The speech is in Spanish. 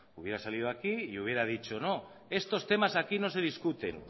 hubiera salido aquí y hubiera dicho no estos temas aquí no se discuten